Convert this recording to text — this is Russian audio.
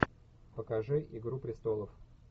покажи игру престолов